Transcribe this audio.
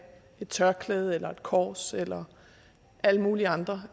tørklæde eller et kors eller alle mulige andre